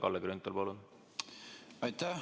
Kalle Grünthal, palun!